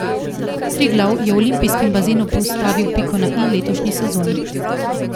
Triglav je v olimpijskem bazenu postavil piko na i letošnji sezoni.